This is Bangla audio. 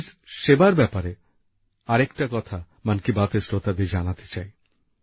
পুলিশ সেবার ব্যাপারে আরেকটা কথা মন কি বাতের শ্রোতাদের জানাতে চাই